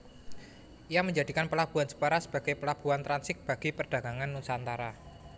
Ia menjadikan pelabuhan Jepara sebagai pelabuhan transit bagi perdagangan nusantara